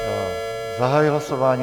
Zahajuji hlasování.